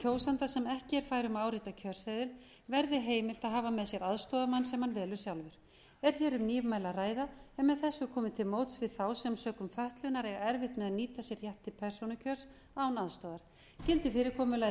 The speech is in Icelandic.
kjósanda sem ekki er fær um árita kjörseðil verði heimilt að hafa með sér aðstoðarmann sem hann velur sjálfur er hér um nýmæli að ræða en með þessu er komið til móts við þá sem sökum fötlunar eiga erfitt með að nýta sér rétt til persónukjörs án aðstoðar gildir fyrirkomulagið